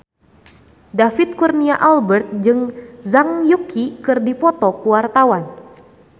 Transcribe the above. David Kurnia Albert jeung Zhang Yuqi keur dipoto ku wartawan